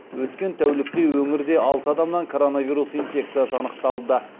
өткен тәулікте өңірде алты адамнан коронавирус инфекциясы анықталды